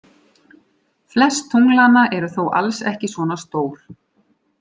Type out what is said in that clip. Flest tunglanna eru þó alls ekki svona stór.